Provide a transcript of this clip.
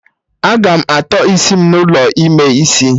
Agam atọ isi m n'ụlọ ime isi